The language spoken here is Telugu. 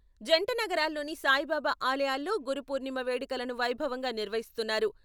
జంట నగరాల్లోని సాయిబాబా ఆలయాల్లో గురు పూర్ణిమ వేడుకలను వైభవంగా నిర్వహిస్తున్నారు.